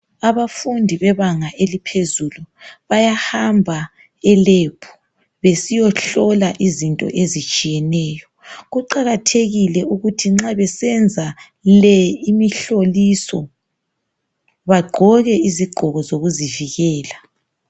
Abafundi bebanga eliphezulu bayahamba e"lab" besiyohlola izinto ezitshiyeneyo. Kuqakathekile ukuthi nxa besenza le imihloliso bagqoke izigqoko zokuzivikela.